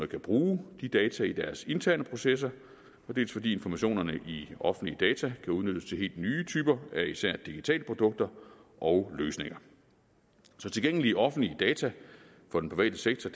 kan bruge de data i deres interne processer dels fordi informationerne i offentlige data kan udnyttes til helt nye typer af især digitale produkter og løsninger så tilgængelige offentlige data for den private sektor